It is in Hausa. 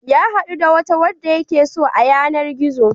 Ya haɗu da wata wadda yake so a yanar-gizo.